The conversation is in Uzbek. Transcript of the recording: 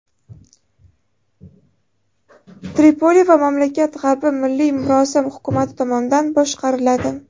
Tripoli va mamlakat g‘arbi milliy murosa hukumati tomonidan boshqariladi.